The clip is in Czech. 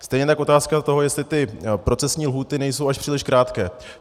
Stejně tak otázka toho, jestli ty procesní lhůty nejsou až příliš krátké.